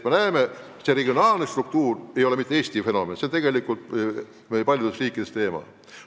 Nii et regionaalne struktuur ei ole mitte Eesti fenomen, see on paljudes riikides teema.